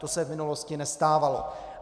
To se v minulosti nestávalo.